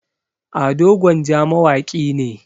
ado gwanja mawaki ne